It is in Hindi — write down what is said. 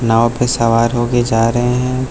नाव पे सवार होके जा रहे हैं।